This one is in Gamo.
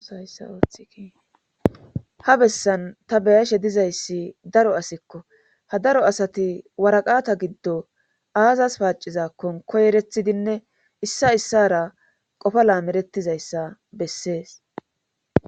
Bessan ta beyashe dizayssi daro asikko ha daro asati waraqata giddo aazas paacizakkon koyerethidinne issa issara qofa laamerettizayssa bessees.